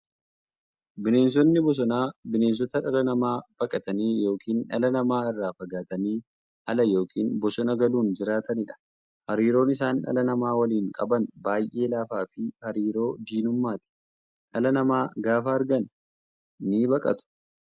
Bineensonni bosonaa bineensota dhala namaa baqatanii yookiin dhala namaa irraa fagaatanii ala yookiin bosona galuun jiraataniidha. Hariiroon isaan dhala namaa waliin qaban baay'ee laafaafi hariiroo diinummaati. Dhala namaa gaafa argan nibaqatu.